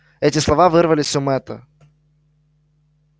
эти слова вырвались у мэтта